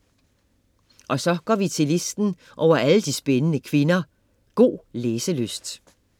Og så går vi til listen over alle de spændende kvinder. God læselyst!